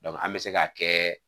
an be se ka kɛ.